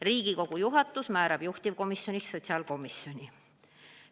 Riigikogu juhatus määrab juhtivkomisjoniks sotsiaalkomisjoni.